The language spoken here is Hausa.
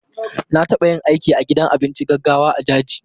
Na taɓa yin aiki a gidan abinci gaggawa a Jaji.